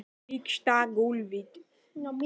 Leggst á gólfið.